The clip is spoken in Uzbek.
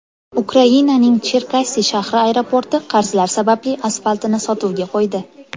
Ukrainaning Cherkassi shahri aeroporti qarzlar sababli asfaltini sotuvga qo‘ydi.